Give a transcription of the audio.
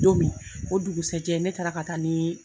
Don min o dugusɛjɛ, ne taara ka taa ni